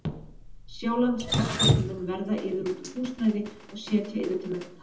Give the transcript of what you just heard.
Sjálandsbiskup mun verða yður út um húsnæði og setja yður til mennta.